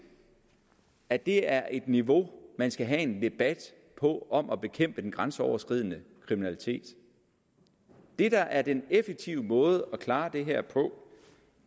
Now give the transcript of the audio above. at det er niveau man skal have en debat på om at bekæmpe den grænseoverskridende kriminalitet det der er den effektive måde at klare det her på